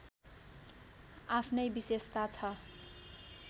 आफ्नै विशेषता छ